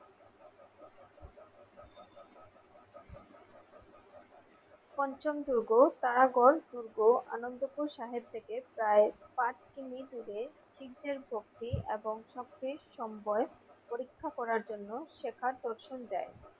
পঞ্চম দুর্গ তারাগড় দুর্গো আনন্দপুর সাহেব থেকে প্রায় পাঁচ কিমি দূরে সিকদের ভক্তি এবং শক্তি সম্বয় পরীক্ষা করার জন্য শেখার দর্শন দেয়।